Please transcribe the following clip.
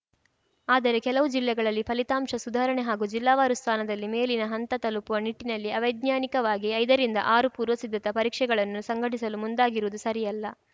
ಆದರೆ ಕೆಲವು ಜಿಲ್ಲೆಗಳಲ್ಲಿ ಫಲಿತಾಂಶ ಸುಧಾರಣೆ ಹಾಗೂ ಜಿಲ್ಲಾವಾರು ಸ್ಥಾನದಲ್ಲಿ ಮೇಲಿನ ಹಂತ ತಲುಪುವ ನಿಟ್ಟಿನಲ್ಲಿ ಅವೈಜ್ಞಾನಿಕವಾಗಿ ಐದ ರಿಂದ ಆರು ಪೂರ್ವಸಿದ್ದತಾ ಪರೀಕ್ಷೆಗಳನ್ನು ಸಂಘಟಿಸಲು ಮುಂದಾಗಿರುವುದು ಸರಿಯಲ್ಲ